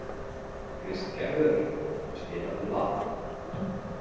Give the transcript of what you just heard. Kristgerður, spilaðu lag.